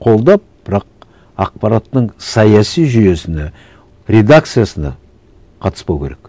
қолдап бірақ ақпараттың саяси жүйесіне редакциясына қатыспау керек